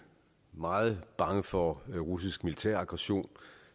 meget bange for russisk militær aggression